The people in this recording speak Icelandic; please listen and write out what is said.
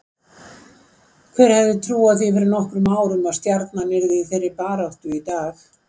Hver hefði trúað því fyrir nokkrum árum að Stjarnan yrði í þeirri baráttu í dag?